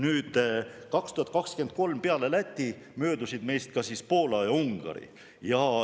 Peale Läti möödusid meist 2023. aastal ka Poola ja Ungari.